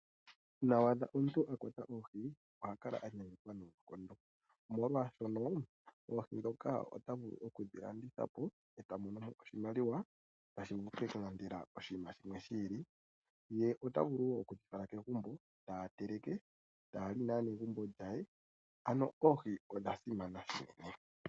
Uuna wa adha omuntu akwata oohi oha kala anyanyukwa noonkondo, molwaashoka ota vulu okudhi landithapo eta mono mo oshimaliwa shoka ta vulu okulanda nasho oshinima shimwe shi ili. Ohadhi vulu woo okufalwa kegumbo omuntu ta teleke a lye naanegumbo lye. Oohi odha simana unene.